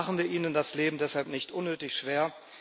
Machen wir ihnen das Leben deshalb nicht unnötig schwer.